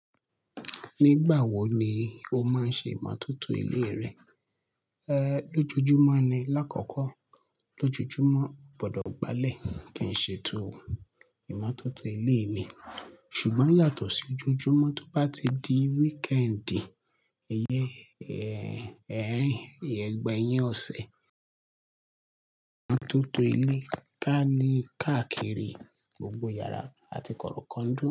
Nígbà wo ni o máa ń ṣe ìmótótó ilé rẹ? Ehn, lójoojúmọ́ ni l'ákọ̀ọ́kọ́. L'ójojúmọ́, mo gbọdọ̀ gbalẹ̀ kí n ṣ'ètò ìmótótó ilé mi. Ṣùgbọ́n yàtọ̀ sí ojoojúmọ́, tó bá ti di wíkẹǹdì, ìyen-- ìgbẹ̀yìn ọ̀sẹ̀, ìmótótó ilé ká ní káàkiri gbogbo yàrá àti kọ̀rọ̀kọ́ńdú.